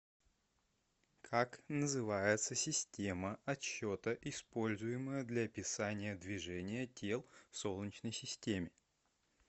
как называется система отсчета используемая для описания движения тел в солнечной системе